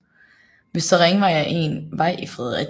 Vestre Ringvej er en vej i Fredericia